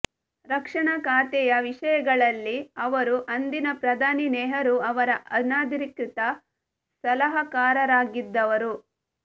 ರಕ್ಷಣಾ ಖಾತೆಯ ವಿಷಯಗಳಲ್ಲಿ ಅವರು ಅಂದಿನ ಪ್ರಧಾನಿ ನೆಹರೂ ಅವರ ಅನಧಿಕೃತ ಸಲಹಾಕಾರರಾಗಿದ್ದವರು